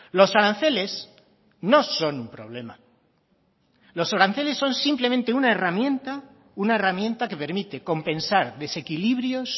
los aranceles no son un problema los aranceles son simplemente una herramienta que permite compensar desequilibrios